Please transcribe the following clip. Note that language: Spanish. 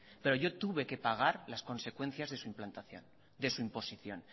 pero yo tuve que pagar las consecuencias de su implantación de su imposición